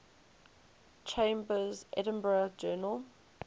chambers's edinburgh journal